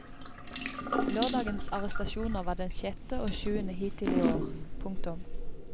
Lørdagens arrestasjoner var den sjette og sjuende hittil i år. punktum